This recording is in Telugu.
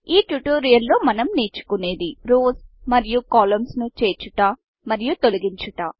ఈ tutorialట్యుటోరియల్ లో మనం నేర్చుకునేది rowsరోస్ మరియు కాలమ్న్స్ కాలమ్స్ను చేర్చుట మరియు తొలగించుట